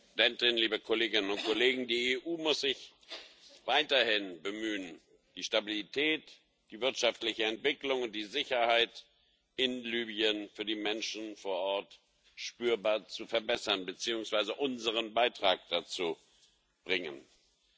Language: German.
Frau Präsidentin, liebe Kolleginnen und Kollegen! Die EU muss sich weiterhin bemühen, die Stabilität, die wirtschaftliche Entwicklung und die Sicherheit in Libyen für die Menschen vor Ort spürbar zu verbessern beziehungsweise unseren Beitrag dazu zu leisten.